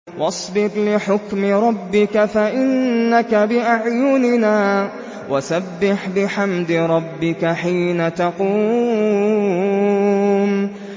وَاصْبِرْ لِحُكْمِ رَبِّكَ فَإِنَّكَ بِأَعْيُنِنَا ۖ وَسَبِّحْ بِحَمْدِ رَبِّكَ حِينَ تَقُومُ